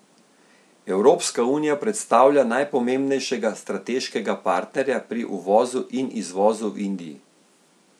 Evropska unija predstavlja najpomembnejšega strateškega partnerja pri uvozu in izvozu v Indiji.